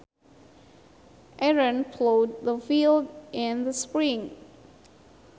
Aaron plowed the field in the spring